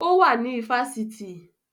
Ó wà ní ifásitì